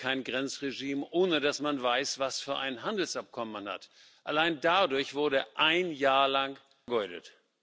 Ich kenne kein Grenzregime, ohne dass man weiß, was für ein Handelsabkommen man hat. Allein dadurch wurde ein Jahr vergeudet.